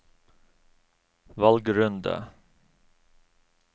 valgrunde